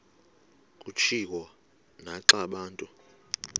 kutshiwo naxa abantu